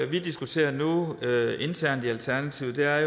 vi diskuterer nu internt i alternativet er